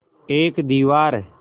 एक दीवार